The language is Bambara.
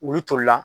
Olu toli la